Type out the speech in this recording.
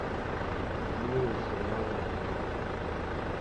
новые сериалы нтв